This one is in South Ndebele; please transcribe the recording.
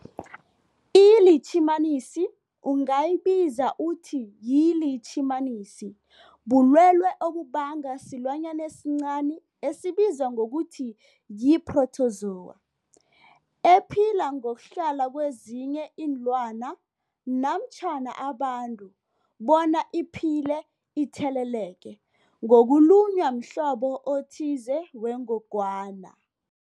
ILitjhimanisi ungayibiza uthi yilitjhimanisi, bulwelwe obubangwa silwanyana esincani esibizwa ngokuthi yi-phrotozowa ephila ngokuhlala kezinye iinlwana namtjhana abantu bona iphile itheleleke ngokulunywa mhlobo othize wengogwana.